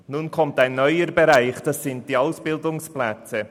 Nun kommen wir zu einem neuen Bereich: zu den Ausbildungsplätzen.